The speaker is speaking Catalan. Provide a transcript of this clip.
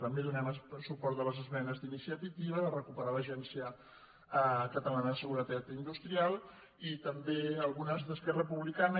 també donem suport a les esmenes d’iniciativa de recuperar l’agència catalana de seguretat industrial i també a algunes d’esquerra republicana